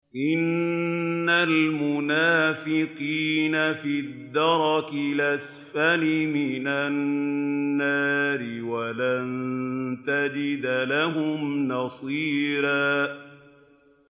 إِنَّ الْمُنَافِقِينَ فِي الدَّرْكِ الْأَسْفَلِ مِنَ النَّارِ وَلَن تَجِدَ لَهُمْ نَصِيرًا